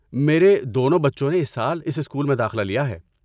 میرے دونوں بچوں نے اس سال اس اسکول میں داخلہ لیا ہے۔